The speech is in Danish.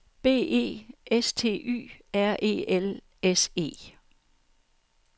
B E S T Y R E L S E